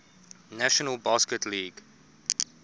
national basketball league